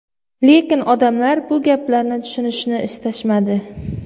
Lekin odamlar bu gaplarni tushunishni istashmadi.